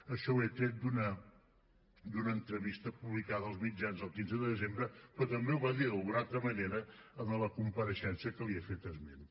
això ho he tret d’una entrevista publicada als mitjans el quinze de desembre però també ho va dir d’alguna altra manera en la compareixença que li he fet esment